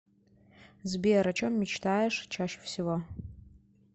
сбер о чем мечтаешь чаще всего